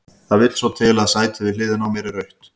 Það vill svo til að sætið við hliðina á mér er autt.